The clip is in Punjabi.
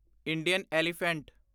Indian elephant